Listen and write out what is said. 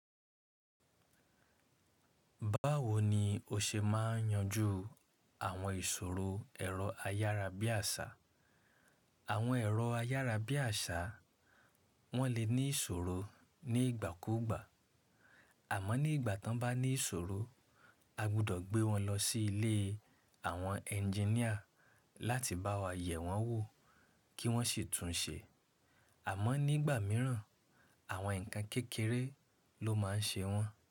Báwo ni o ṣe máa n yanju àwọn ìṣòro ẹ̀rọ ayárabíàṣá? Àwọn ẹ̀rọ ayárabíàṣá wọ́n lè ní ìṣòro ní ìgbà kúgbà, àmọ́ ní ìgbà tí wọ́n bá ní ìṣòro, a gbọ́dọ̀ gbé wọn lọ sí ilé àwọn ẹnjiníà láti bá wa yẹ̀ wọ́n wò kí wọ́n sì tún un ṣe. Àmọ́ nígbà mìíràn, àwọn ǹkan kékeré ló máa ń ṣe wọ́n.